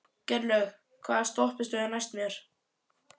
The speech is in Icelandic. Geirlöð, hvaða stoppistöð er næst mér?